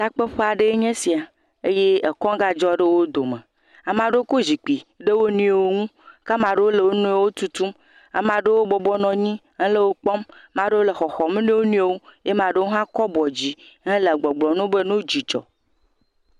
takpeƒe aɖeɛ nye sia eye ekɔ́ gadzɔ ɖe wó dome amaɖewo kó zikpi ɖe wonɔewo ŋu ke amaɖewo le wó niɔwo tutum, amaɖewo bɔbɔ nɔnyi hele wó kpɔm maɖewo le xɔxɔm ne wóniɔwo ye maɖewo hã kɔ́ bɔ dzi hele gbɔgblɔm nowo be nó dzudzɔ